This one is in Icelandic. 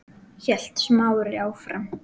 hélt Smári áfram.